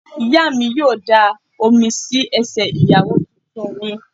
Ìyá mi yóò da omi sí ẹsẹ̀ Ìyàwó tuntun mi.